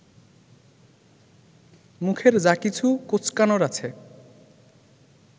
মুখের যা কিছু কোঁচকানোর আছে